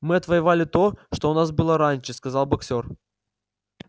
мы отвоевали то что у нас было раньше сказал боксёр